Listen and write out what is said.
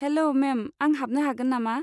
हेल' ma'am, आं हाबनो हागोन नामा?